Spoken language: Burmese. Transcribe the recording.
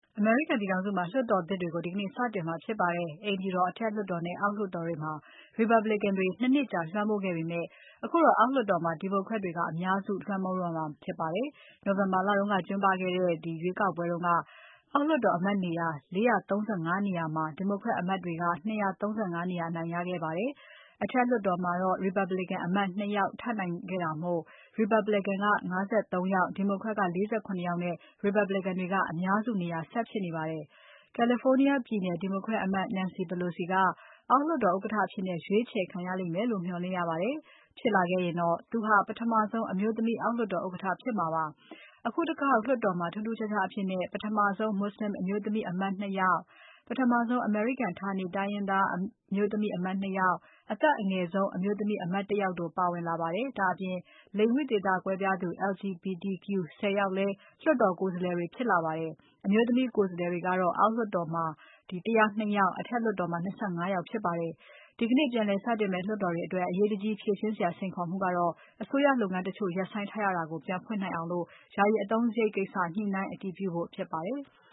အမေရိကန်ပြည်ထောင်စုမှာ လွှတ်တော်သစ်တွေကို ဒီကနေ့ စတင်မှာဖြစ်ပါတယ်။ အိမ်ဖြူတော်၊ အထက်လွှတ်တော်နဲ့ အောက်လွှတ်တော်တွေမှာ Republican တွေ ၂ နှစ်ကြာ လွှမ်းမိုးခဲ့ပေမဲ့ အခုတော့ အောက်လွှတ်တော်မှာ Democrat တွေကအများစု လွှမ်းမိုးတော့မှာဖြစ်ပါတယ်။ နိုဝင်ဘာလက ကျင်းပခဲ့တဲ့ရွေးကောက်ပွဲတုန်းက အောက်လွှတ်တော်အမတ်နေရာ ၄၃၅ နေရာမှာ Democrat အမတ်တွေက ၂၃၅ နေရာ အနိုင်ရခဲ့ပါတယ်။ အထက်လွှတ်တော်မှာတော့ Republican အမတ် ၂ ယောက်ထပ်နိုင်ခဲ့တာမို့ Republican က ၅၃ ယောက် Democrat က ၄၇ ယောက်နဲ့ Republican တွေက အများစုနေရာဆက်ဖြစ်နေပါတယ်။ California ပြည်နယ် Democrat အမတ် Nancy Pelosi ကအောက်လွှတ်တော်ဥက္ကဋ္ဌအဖြစ် ရွေးချယ်ခံရမယ်လို့ မျှော်လင့်ရပါတယ်။ ဖြစ်လာခဲ့ရင် သူဟာ ပထမဆုံးအမျိုးသမီး အောက်လွှတ်တော်ဥက္ကဋ္ဌဖြစ်မှာပါ။ အခုတခေါက်လွှတ်တော်မှာ ထူးထူးခြားခြားအဖြစ် ပထမဆုံး Muslim အမျိုးသမီးအမတ် ၂ ယောက်၊ ပထမဆုံး အမေရိကန် ဌာနေတိုင်းရင်းသား အမျိုးသမီးအမတ် ၂ ယောက်၊ အသက်အငယ်ဆုံး အမျိုးသမီးအမတ် ၁ ယောက်တို့ ပါဝင်လာပါတယ်။ ဒါ့အပြင် လိင်ဝိသေသကွဲပြားသူ LGBTQ ၁၀ ယောက်လည်း လွှတ်တော်ကိုယ်စားလှယ်တွေဖြစ်လာပါတယ်။ အမျိုးသမီးကိုယ်စားလှယ်တွေကတော့ အောက်လွှတ်တော်မှာ ၁၀၂ ယောက် အထက်လွှတ်တော်မှာ ၂၅ ယောက်ဖြစ်ပါတယ်။ ဒီကနေ့ပြန်လည်စတင်မယ့် လွှတ်တော်အတွက် အရေးတကြီးဖြေရှင်းစရာ စိန်ခေါ်မှုကတော့ အစိုးရလုပ်ငန်းတချို့ ရပ်ဆိုင်းထားရတာကို ပြန်ဖွင့်နိုင်အောင် ယာယီအသုံးစရိတ်ကိစ္စ ညှိုနှိုင်းအတည်ပြုဖို့ဖြစ်ပါတယ်။